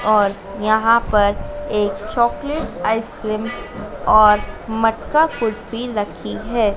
और यहां पर एक चॉकलेट आइसक्रीम और मटका कुल्फी रखी हैं।